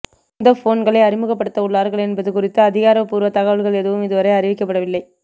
எந்த போன்களை அறிமுகப்படுத்தவுள்ளார்கள் என்பது குறித்த அதிகாரப்பூர்வ தகவல்கள் எதுவும் இதுவரை அறிவிக்கப்படவில்லை